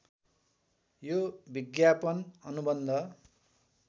यो विज्ञापन अनुबन्ध